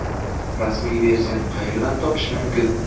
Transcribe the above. Rasmiy versiyani qayerdan topish mumkin?